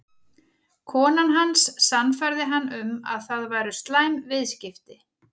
Konan hans sannfærði hann um að það væru slæm viðskipti.